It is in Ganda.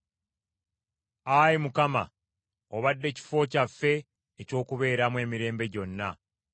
Ayi Mukama, obadde kifo kyaffe eky’okubeeramu emirembe gyonna.